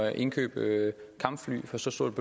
at indkøbe kampfly for så stort